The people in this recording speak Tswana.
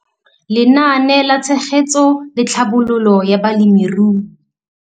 Lenaane la Tshegetso le Tlhabololo ya Balemirui.